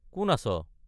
কোন আছ?